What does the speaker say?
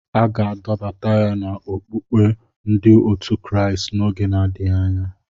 A ga-adọbata ya n'ọkpụkpụ ndi otu Kraịst n'oge na-adịghị anya.